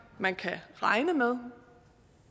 man kan regne med